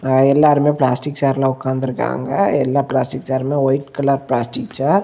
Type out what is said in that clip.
எல்லாருமே பிளாஸ்டிக் சேர்ல உக்காந்துருக்காங்க எல்ல பிளாஸ்டிக் சேருமே ஒயிட் கலர் பிளாஸ்டிக் சேர் .